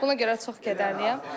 Buna görə də çox kədərliyəm.